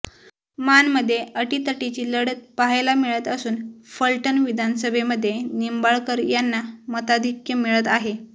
माणमध्ये आटीतटीची लढत पहायला मिळत आसून फलटण विधानसभेमध्ये निंबाळकर यांना मताधिक्य मिळत आहे